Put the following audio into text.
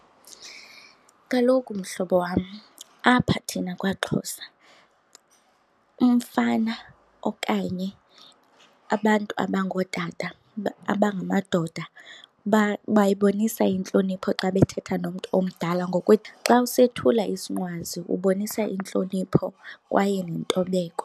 Kaloku mhlobo wam, apha thina kwaXhosa umfana okanye abantu abangootata abangamadoda bayabonisa intlonipho xa bethetha nomntu omdala ngokuthi xa usethula isinqwazi ubonisa intlonipho kwaye nentobeko.